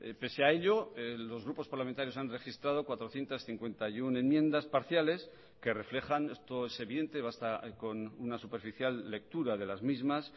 pese a ello los grupos parlamentarios han registrado cuatrocientos cincuenta y uno enmiendas parciales que reflejan esto es evidente basta con una superficial lectura de las mismas